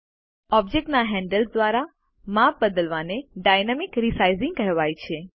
ઑબ્જેક્ટના handles દ્વારા માપ બદલવાને ડાયનામિક રિસાઈઝિંગ કહેવાય છે